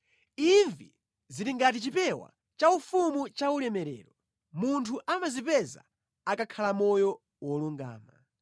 Imvi zili ngati chipewa chaufumu chaulemerero; munthu amazipeza akakhala moyo wolungama.